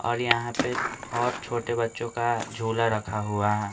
और यहां पे और छोटे बच्चों का झूला रखा हुआ है।